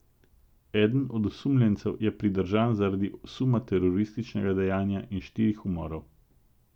Eden od osumljencev je pridržan zaradi suma terorističnega dejanja in štirih umorov.